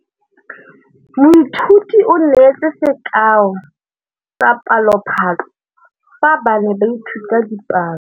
Moithuti o neetse sekaô sa palophatlo fa ba ne ba ithuta dipalo.